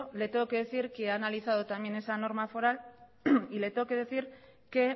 le tengo que decir que he analizado también esa norma foral y le tengo que decir que